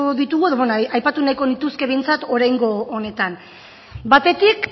ditugu edo aipatu nahiko nituzke behintzat oraingo honetan batetik